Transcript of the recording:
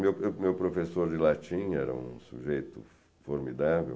Meu meu meu professor de latim era um sujeito formidável.